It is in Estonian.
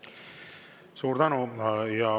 Suur tänu!